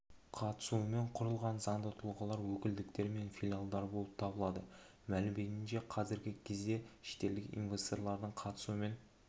қатысуымен құрылған заңды тұлғалар өкілдіктер мен филиалдар болып табылады мәліметінше қазіргі кезде шетелдік инвесторлардың қатысуымен